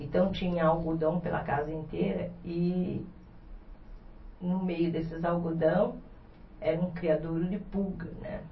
Então, tinha algodão pela casa inteira, e no meio desses algodão era um criadouro de pulga, né?